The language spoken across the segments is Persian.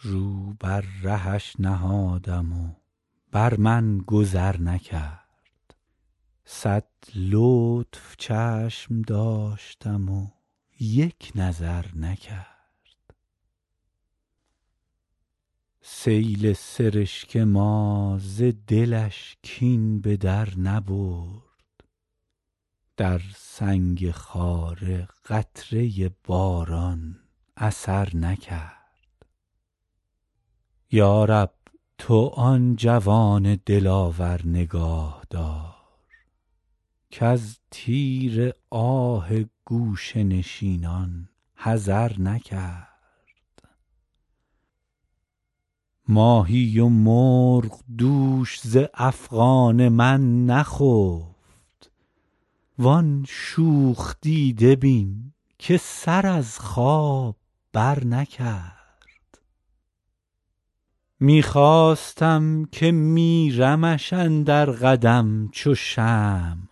رو بر رهش نهادم و بر من گذر نکرد صد لطف چشم داشتم و یک نظر نکرد سیل سرشک ما ز دلش کین به در نبرد در سنگ خاره قطره باران اثر نکرد یا رب تو آن جوان دلاور نگاه دار کز تیر آه گوشه نشینان حذر نکرد ماهی و مرغ دوش ز افغان من نخفت وان شوخ دیده بین که سر از خواب برنکرد می خواستم که میرمش اندر قدم چو شمع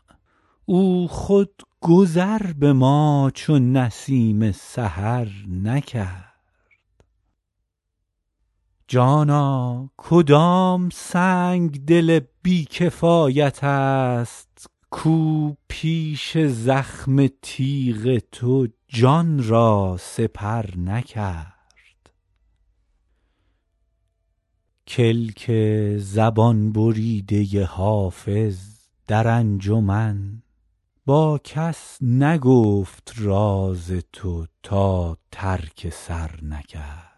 او خود گذر به ما چو نسیم سحر نکرد جانا کدام سنگدل بی کفایت است کاو پیش زخم تیغ تو جان را سپر نکرد کلک زبان بریده حافظ در انجمن با کس نگفت راز تو تا ترک سر نکرد